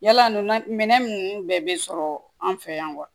Yala nun na minɛn nunnu bɛɛ bɛ sɔrɔ an fɛ yan wa